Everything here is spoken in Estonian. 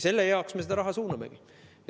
Selle jaoks me seda raha suunamegi.